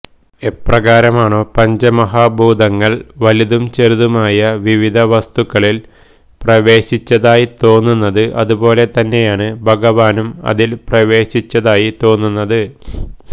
എപ്രകാരമാണോ പഞ്ചമഹാഭൂതങ്ങള് വലുതും ചെറുതുമായ വിവിധ വസ്തുക്കളില് പ്രവേശിച്ചതായി തോന്നുന്നത് അതുപോലെ തന്നെയാണ് ഭഗവാനും അതില് പ്രവേശിച്ചതായി തോന്നുന്നത്